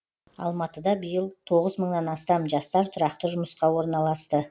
алматыда биыл тоғыз мыңнан астам жастар тұрақты жұмысқа орналасты